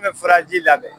An bɛ furaji labɛn